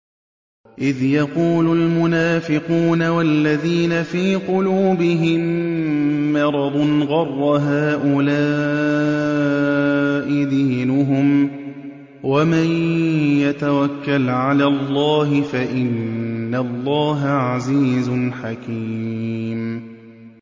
إِذْ يَقُولُ الْمُنَافِقُونَ وَالَّذِينَ فِي قُلُوبِهِم مَّرَضٌ غَرَّ هَٰؤُلَاءِ دِينُهُمْ ۗ وَمَن يَتَوَكَّلْ عَلَى اللَّهِ فَإِنَّ اللَّهَ عَزِيزٌ حَكِيمٌ